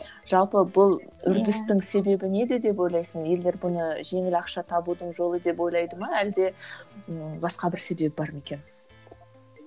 жалпы бұл үрдістің себебі неде деп ойлайсың елдер бұны жеңіл ақша табудың жолы деп ойлайды ма әлде ы басқа бір себебі бар ма екен